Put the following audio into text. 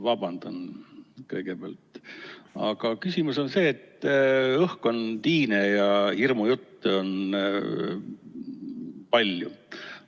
Vabandan kõigepealt, aga küsimus on see, et õhk on tiine ja hirmujutte on palju.